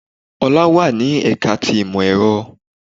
Olá wà ní ẹ̀ka ti ìmọ̀ èro